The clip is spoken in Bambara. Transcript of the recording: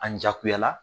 An jakuyara